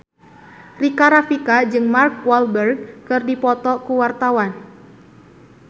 Rika Rafika jeung Mark Walberg keur dipoto ku wartawan